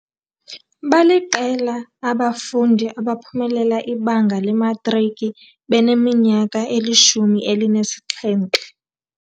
Baliqela abafundi abaphumelela ibanga lematriki beneminyaka elishumi elinesixhenxe.